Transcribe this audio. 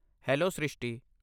Hello Srishti!